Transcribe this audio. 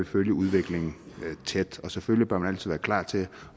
følge udviklingen tæt selvfølgelig bør man altid være klar til